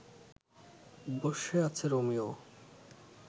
বসে আছে রোমিও